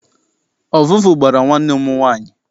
Ọvụvụ gbara nwanne m nwaanyị.